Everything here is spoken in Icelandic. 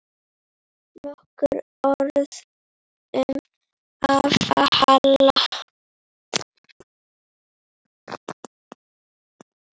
Nokkur orð um afa Hall.